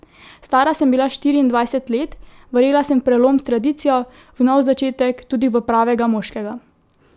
Stara sem bila štiriindvajset let, verjela sem v prelom s tradicijo, v nov začetek, tudi v pravega moškega.